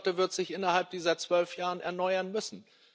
Aber die Flotte wird sich innerhalb dieser zwölf Jahre erneuern müssen.